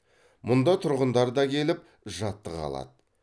мұнда тұрғындар да келіп жаттыға алады